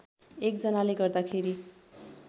एक जनाले गर्दाखेरि